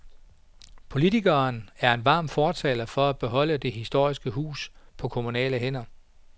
Politikeren er en varm fortaler for at beholde det historiske hus på kommunale hænder.